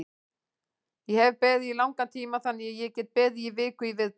Ég hef beðið í langan tíma þannig að ég get beðið í viku í viðbót.